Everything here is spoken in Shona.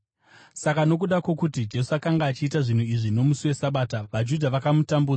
Saka nokuda kwokuti Jesu akanga achiita zvinhu izvi nomusi weSabata, vaJudha vakamutambudza.